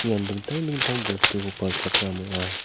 ian dingtang dingtang bostuko palchakram ong·a.